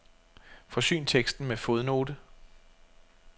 Forsyn teksten med fodnote.